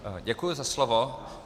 Děkuji za slovo.